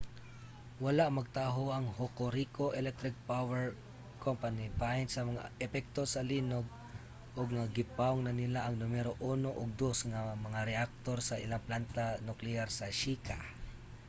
wala magtaho ang hokuriku electric power co. bahin sa mga epekto sa linog ug nga gipawong na nila ang numero 1 ug 2 nga mga reaktor sa ilang plantang nukleyar sa shika